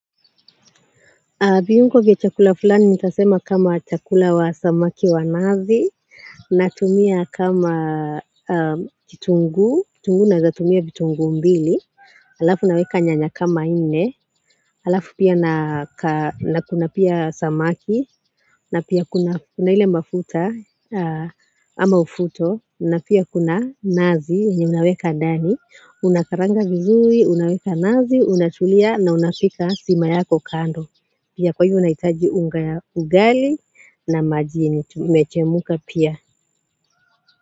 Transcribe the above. Viungo vya chakula fulani nitasema kama chakula wa samaki wa nazi, natumia kama kitunguu, kitunguu naweza tumia vitunguu mbili. Alafu naweka nyanya kama nne, alafu kuna pia samaki na pia kuna ile mafuta ama ufuto, na pia kuna nazi, yenye unaweka ndani, unakaranga vizuri, unaweka nazi, unatulia na unapika sima yako kando. Pia kwa hivyo unahitaji unga ya ugali na maji yenye imechemka pia.